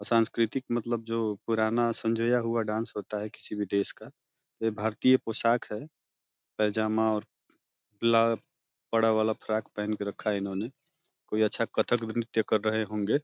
सांस्कृतिक मतलब जो पुराना संजोया हुआ डांस होता है किसी भी देश का। ये भारतीय पोशाक है। पैजामा और ब्ला बड़ा वाला फ्रॉक पहन के रखा है इन्होंने। कोई अच्छा कथक नृत्य कर रहे होंगे।